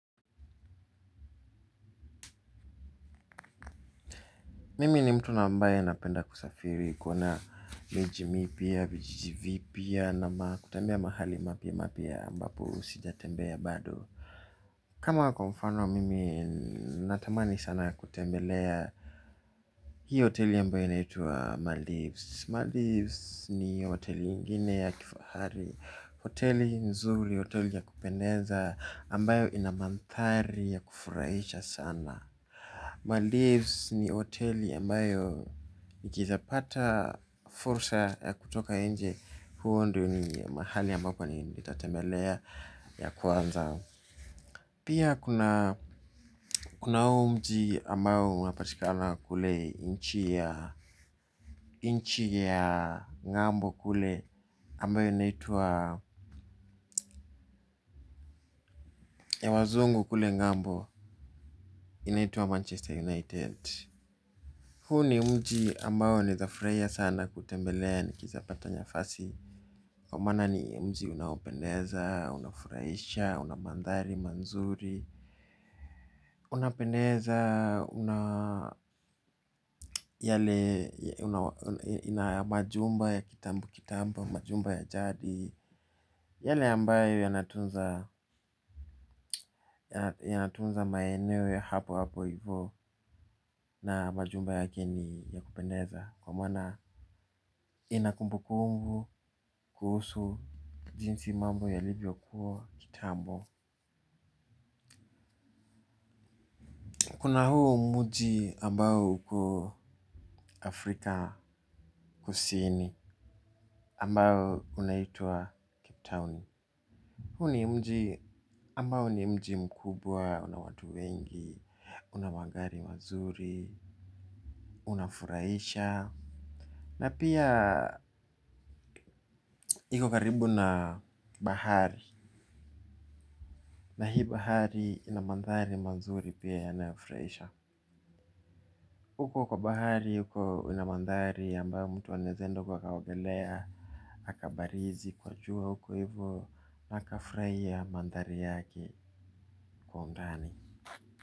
Mimi ni mtu na ambaye napenda kusafiri kuna miji mipya vijiji vipya na makutembea mahali mapya mapya ambapo sijatembea bado. Kama kwa mfano mimi natamani sana ya kutembelea hii hoteli ambae inaitua Malivs Malivs ni hoteli ingine ya kifahari, hoteli nzuri, hoteli ya kupendeza ambayo inamandhari ya kufurahisha sana Malivs ni hoteli ambayo nikiweza pata fursa ya kutoka nje huo ndio ni mahali ambapo ni nitatemelea ya kwanza. Pia kuna huu mji ambao unapatikana kule nchi ya ng'ambo kule ambayo inaitwa ya wazungu kule ngambo inaitwa Manchester United. Huu ni mji ambayo naweza furahia sana kutembelea nikiweza pata nafasi. Kwa maana ni mji unaopendeza, unafurahisha, unamandhari, mazuri. Unapendeza yale ina majumba ya kitambo kitambo, majumba ya jadi. Yale ambayo yanatunza maeneo ya hapo hapo hivyo na majumba yake yanapendeza ndiyo maana inakumbukumbu kuhusu jinsi mambo yalivyo kuwa kitambo. Kuna huu mji ambao uko Afrika kusini ambao unaitwa Cape Town. Huu ni mji ambao ni mji mkubwa una watu wengi, una magari mazuri, una furahisha na pia iko karibu na bahari na hii bahari inamandhari mazuri pia yanayofurahisha. Huko kwa bahari huko unamandhari ambayo mtu anaweza enda huko akaogelea akabarizi kwa jua huko hivyo na akafurahia mandhari yake kwa undani.